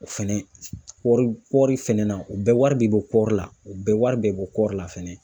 O fɛnɛ kɔɔri kɔɔri fɛnɛ na, o bɛ wari de bɔ kɔɔri la ,u bɛɛ wari de bɔ kɔɔri la fɛnɛ.